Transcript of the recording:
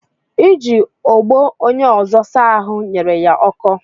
Iji ogbo onye ọzọ saa ahụ nyere ya ọkọ